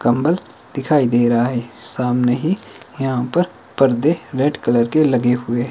कंबल दिखाई दे रहा है सामने ही यहां पर पर्दे रेड कलर के लगे हुए--